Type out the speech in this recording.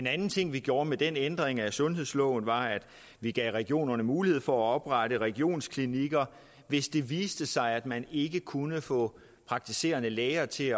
anden ting vi gjorde med den ændring af sundhedsloven var at vi gav regionerne en mulighed for at oprette regionsklinikker hvis det viste sig at man ikke kunne få praktiserende læger til